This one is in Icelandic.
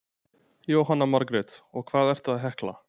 Jóhanna Margrét: Og hvað ertu að hekla?